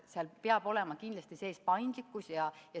Seal peab olema kindlasti sees paindlikkust.